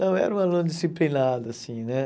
Não, eu era um aluno disciplinado assim né.